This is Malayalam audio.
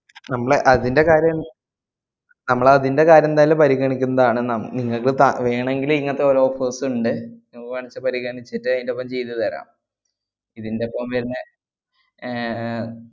നമ്മള് അതിന്‍റെ കാര്യം നമ്മള് അതിന്‍റെ കാര്യം എന്തായാലും പരിഗണിക്കുന്നതാണ് നം~ നിങ്ങക്ക് ത~ വേണെങ്കില് ഇങ്ങത്തെ ഓരോ offers ഇണ്ട്, വാണ്ന്ന്ച്ചാ പരിഗണിച്ചിട്ട് അതിന്‍റൊപ്പം ചെയ്തുതരാം ഇതിന്‍റൊപ്പം വരുന്നേ ഏർ ഏർ